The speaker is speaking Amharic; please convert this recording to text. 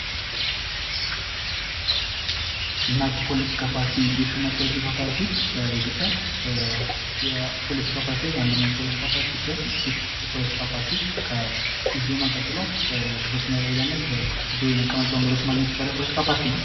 እናት ፖለቲካ ፖርቲ ከኢዜማ ቀጥሎ ተቀባይነትን ያገኘ ፓርቲ ነው።